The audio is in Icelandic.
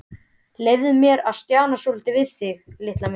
Leyfðu mér að stjana svolítið við þig, litla mín.